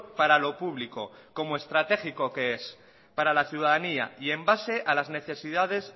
para lo público como estratégico que es para la ciudadanía y en base a las necesidades